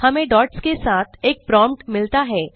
हमें डॉट्स के साथ एक प्रोम्प्ट मिलता है